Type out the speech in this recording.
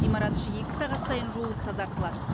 ғимарат іші екі сағат сайын жуылып тазартылады